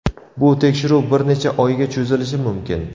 Bu tekshiruv bir necha oyga cho‘zilishi mumkin.